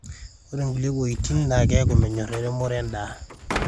ore nkulie woitin na keeku menyor eremore endaa